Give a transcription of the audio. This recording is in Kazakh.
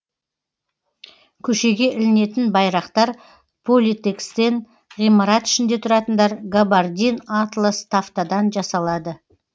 көшеге ілінетін байрақтар политэкстен ғимарат ішінде тұратындар габардин атлас тафтадан жасалады